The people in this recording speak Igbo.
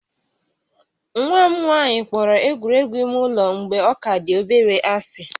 Nwa m nwanyị kpọrọ egwuregwu ime ụlọ mgbe ọ ka dị obere ásị̀